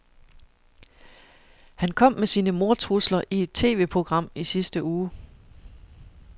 Han kom med sine mordtrusler i et TVprogram i sidste uge.